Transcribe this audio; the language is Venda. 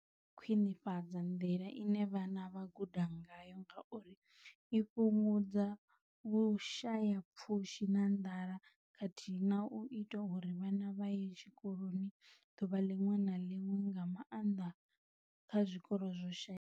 Ukhwinifhadza nḓila ine vhana vha guda ngayo ngauri i fhungudza vhushayapfushi na nḓala khathihi na u ita uri vhana vha ye tshikoloni ḓuvha ḽiṅwe na ḽiṅwe, nga maanḓa kha zwikolo zwo shayaho.